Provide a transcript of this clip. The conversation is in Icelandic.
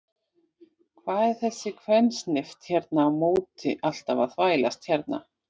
Hvað er þessi kvensnift hérna á móti alltaf að þvælast hérna?